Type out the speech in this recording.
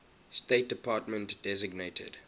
state department designated